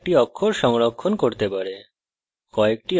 এটি ঠিক একটি অক্ষর সংরক্ষণ করতে পারে